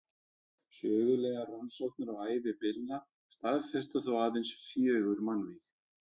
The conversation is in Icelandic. Sögulegar rannsóknir á ævi Billa staðfesta þó aðeins fjögur mannvíg.